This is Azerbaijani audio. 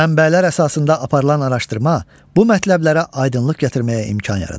Mənbələr əsasında aparılan araşdırma bu mətləblərə aydınlıq gətirməyə imkan yaradır.